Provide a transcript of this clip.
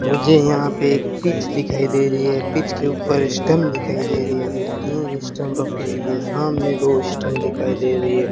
मुझे यहां पे एक पिच दिखाई दे रही है पिच के ऊपर स्टंप दिखाई दे रही है जो तीन स्टंप रखी गई है सामने दो स्टंप दिखाई दे रही है।